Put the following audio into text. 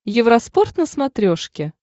евроспорт на смотрешке